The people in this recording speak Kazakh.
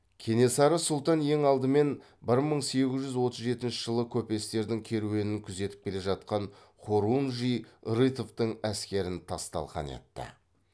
кенесары сұлтан ең алдымен бір мың сегіз жүз отыз жетінші жылы көпестердің керуенін күзетіп келе жатқан хорунжий рытовтың әскерін тас талқан етті